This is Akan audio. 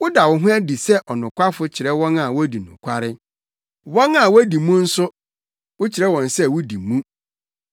Woda wo ho adi sɛ ɔnokwafo kyerɛ wɔn a wodi nokware, wɔn a wodi mu nso wokyerɛ wɔn sɛ wodi mu.